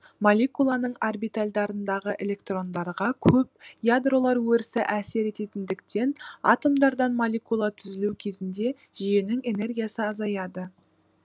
молекуланың орбитальдарындағы электрондарға көп ядролар өрісі әсер ететіндіктен атомдардан молекула түзілу кезінде жүйенің энергиясы азаяды